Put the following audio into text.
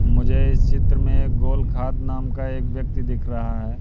मुझे इस चित्र में एक गोल खाद नाम का एक व्यक्ति दिख रहा है।